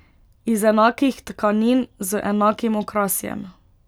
Iz enakih tkanin, z enakim okrasjem.